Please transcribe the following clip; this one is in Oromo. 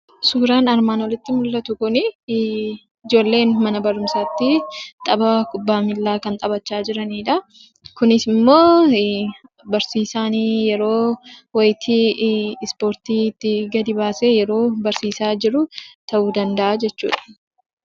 Suuraan armaan olitti mullatu kuni ijoollen mana barumsaattii taphaa kubbaa miillaa kan taphachaa jiranidhaa. Kunisimmoo barsiisaan yeroo wayitii ispoortiitti gadi baasee yeroo barsiisaa jiru ta'uu danda'a jechuudha.